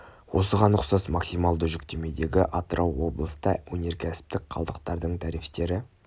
осыған ұқсас максималды жүктемедегі атырау облыста өнеркәсіптік қалдықтардың тарифтері